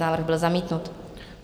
Návrh byl zamítnut.